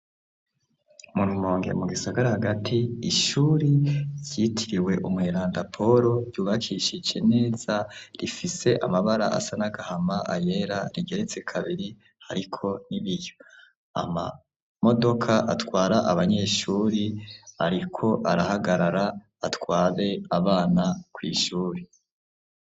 Murumonge mugisagara hagati ishuri vyitiriwe umwelanda Poro ryubakishije neza rifise amabara asa n'agahama ayera rigeretse kabiri, ariko nibiyo ama modoka atwara abanyeshuri, ariko arahagarara atware abana kw'ishuri.